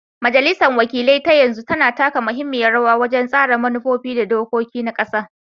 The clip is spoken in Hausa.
Majalisar wakilai ta yanzu tana taka muhimmiyar rawa wajen tsara manufofi da dokoki na ƙasa.